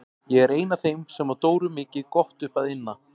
Ég er ein af þeim sem á Dóru mikið gott upp að inna.